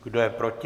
Kdo je proti?